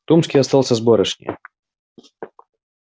томский остался с барышнею